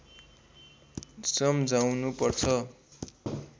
सम्झाउनु पर्छ